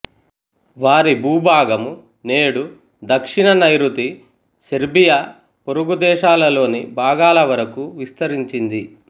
వారి భూభాగం నేడు దక్షిణ నైరుతి సెర్బియా పొరుగు దేశాలలోని భాగాల వరకు విస్తరించింది